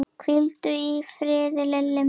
Hvíldu í friði, Lilli minn.